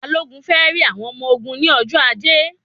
Balogun fẹ rí àwọn ọmọ ogun ní ọjọ ajé